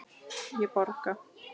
Ég borga!